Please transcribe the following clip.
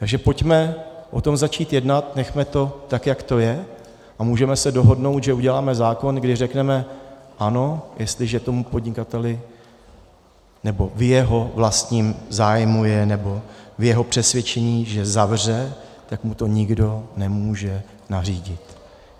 Takže pojďme o tom začít jednat, nechme to tak, jak to je, a můžeme se dohodnout, že uděláme zákon, když řekneme ano, jestliže tomu podnikateli, nebo v jeho vlastním zájmu je, nebo v jeho přesvědčení, že zavře, tak mu to nikdo nemůže nařídit.